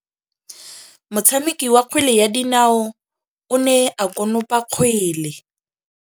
Motshameki wa kgwele ya dinaô o ne a konopa kgwele.